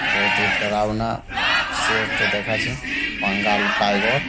বহতি ডাড়াওনা শেরটো দেখাছে বাঙ্গাল টাইগর ।